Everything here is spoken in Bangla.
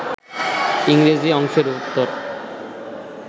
ইংরেজি অংশের উত্তর